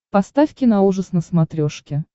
поставь киноужас на смотрешке